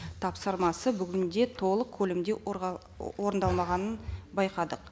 тапсырмасы бүгінде толық көлемде орындалмағанын байқадық